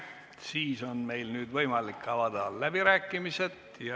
Siis on võimalik avada läbirääkimised.